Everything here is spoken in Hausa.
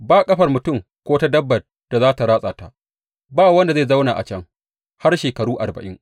Ba ƙafar mutum ko ta dabbar da za tă ratsa ta; ba wanda zai zauna a can har shekaru arba’in.